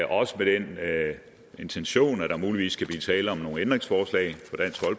også med den intention at der muligvis kan blive tale om nogle ændringsforslag